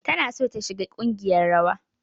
Tana son ta shiga kungiyar rawa.